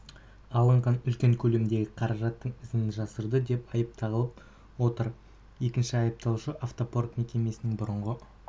алынған үлкен көлемдегі қаражаттың ізін жасырды деп айып тағылып отыр екінші айыпталушы автопарк мекемесінің бұрынғы